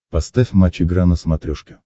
поставь матч игра на смотрешке